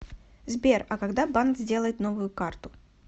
сбер а когда банк сделает новую карту